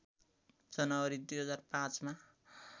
जनवरी २००५ मा